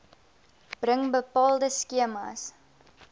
bring bepaalde skemas